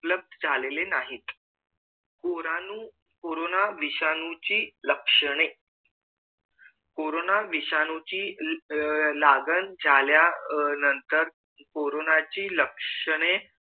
उपलब्ध झालेले नाहीत कोरानू कोरोना विषाणू ची लक्षणे कोरोना विषाणू ची अह लागण अह झाल्या नंतर कोरोनाची लक्षणे